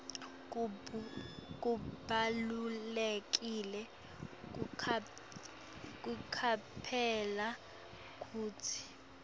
kubalulekile kucaphela kutsi